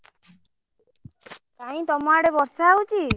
କାଇଁ ତମ ଆଡେ ବର୍ଷା ହଉଛି।